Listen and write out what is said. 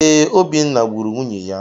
Ee, Obinna gburu nwunye ya.